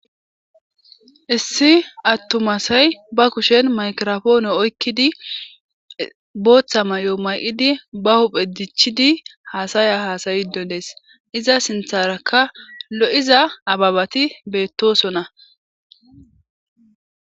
Issi attumasay ba kushen makrofoone oykkidi booththa may'o may'idi ba huphe dichidi haasaya haasayido dees iza sintharakka lo'iza ababati beettosona.